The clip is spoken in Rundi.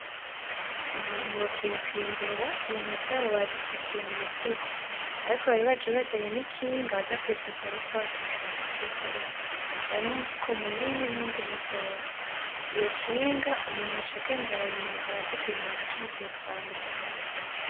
Abantu bavuye kwimbura, ibintu vyabo babipakiye mu mifuko. Ariko bari baje bazanye n'ikinga baza kubipakirako kubera batashobora kuvyikorera. Harimwo umufuko munini n'uwundi mutoya, iyo kinga umuntu acagenda arayinyonga, abazi kuyinyonga canke akayitwara mu ntoke.